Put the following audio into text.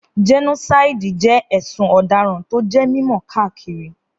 Gẹ́nósáìdì jẹ́ ẹ̀sùn ọ̀daràn tó jẹ́ mímọ̀ káàkiri